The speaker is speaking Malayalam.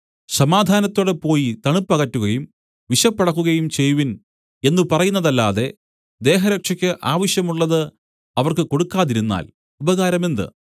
സമാധാനത്തോടെ പോയി തണുപ്പകറ്റുകയും വിശപ്പടക്കുകയും ചെയ്‌വിൻ എന്ന് പറയുന്നതല്ലാതെ ദേഹരക്ഷയ്ക്ക് ആവശ്യമുള്ളത് അവർക്ക് കൊടുക്കാതിരുന്നാൽ ഉപകാരമെന്ത്